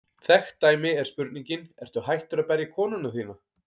Þekkt dæmi er spurningin: Ertu hættur að berja konuna þína?